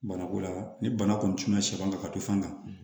Banako la ni bana kɔni cunna sɔ kan ka don fan kan